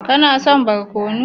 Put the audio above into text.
Kana son barkono?